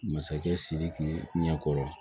Masakɛ sidiki ɲɛkɔrɔ